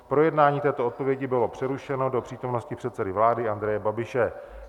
Projednání této odpovědi bylo přerušeno do přítomnosti předsedy vlády Andreje Babiše.